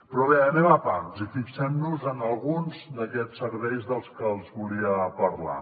però bé anem a pams i fixem nos en alguns d’aquests serveis dels que els volia parlar